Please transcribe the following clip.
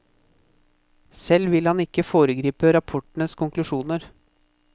Selv vil han ikke foregripe rapportens konklusjoner.